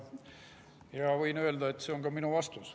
Võin öelda, et see on ka minu vastus.